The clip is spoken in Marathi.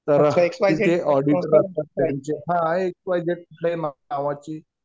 तर तिथे ऑडिटर असतात त्यांचे. हा एक्स वाय झेड कुठल्याही नावाची.